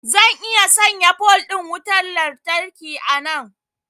zan iya sanya pole din wutar lantarki a nan